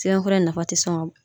Sɛbɛnfura nafa te sɔn ka ban